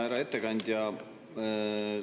Härra ettekandja!